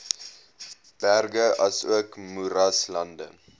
berge asook moeraslande